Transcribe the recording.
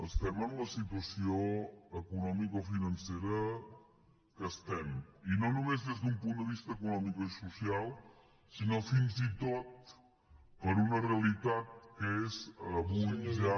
estem en la situació economicofinancera en què estem i no només des d’un punt de vista econòmic i social sinó fins i tot per una realitat que és avui ja